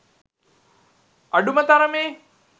අඩුම තරමේ